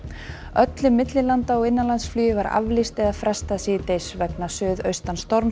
öllu millilanda og innanlandsflugi var aflýst eða frestað síðdegis vegna